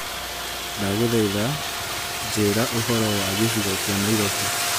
Ndagũthaitha njĩĩra ũhoro wa gĩcigo kia Nairobi